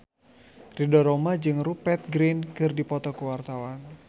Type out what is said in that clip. Ridho Roma jeung Rupert Grin keur dipoto ku wartawan